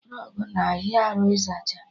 Rọgụ n'ahịa arụ ịzacha